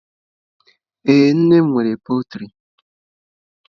Ee, nne m nwere pọltrị.